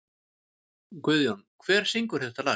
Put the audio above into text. Guðjón, hver syngur þetta lag?